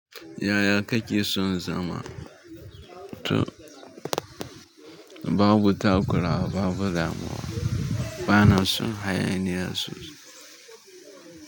Yaya kake son zama to babu takura, babu damuwa, bana son hayaniya sosai.